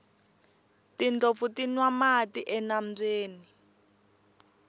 tindlopfu ti nwa mati enambyeni